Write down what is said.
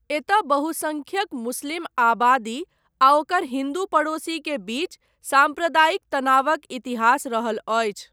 एतय बहुसंख्यक मुस्लिम आबादी आ ओकर हिंदू पड़ोसी के बीच साम्प्रदायिक तनावक इतिहास रहल अछि।